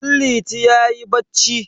Danliti yayi bacci.